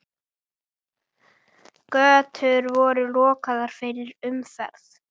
Götur voru lokaðar fyrir umferð.